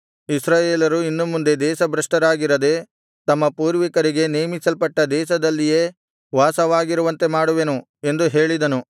ಇಸ್ರಾಯೇಲರು ಇನ್ನು ಮುಂದೆ ದೇಶಭ್ರಷ್ಟರಾಗಿರದೆ ತಮ್ಮ ಪೂರ್ವಿಕರಿಗೆ ನೇಮಿಸಲ್ಟಟ್ಟ ದೇಶದಲ್ಲಿಯೇ ವಾಸವಾಗಿರುವಂತೆ ಮಾಡುವೆನು ಎಂದು ಹೇಳಿದನು